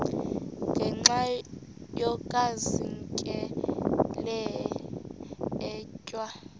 ngenxa yokazinikela etywa